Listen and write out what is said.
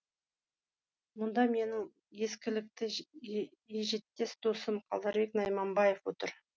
мұнда менің ескілікті ежеттес досым қалдарбек найманбаев отыр